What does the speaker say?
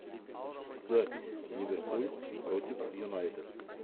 запись ливерпуль против юнайтед